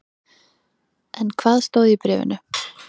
En hvað stóð í bréfinu?